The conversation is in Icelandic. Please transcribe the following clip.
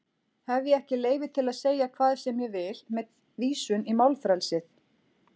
Hef ég ekki leyfi til að segja hvað sem ég vil með vísun í málfrelsið?